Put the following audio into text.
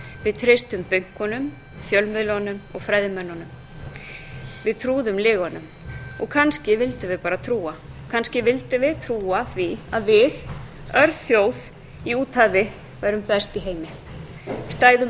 við treystum bönkunum fjölmiðlunum og fræðimönnunum við trúðum lygunum og kannski vildum við bara trúa kannski vildum við trúa því að við örþjóð í úthafi værum best í heimi stæðum